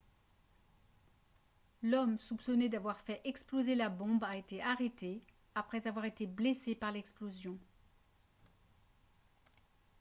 l'homme soupçonné d'avoir fait exploser la bombe a été arrêté après avoir été blessé par l'explosion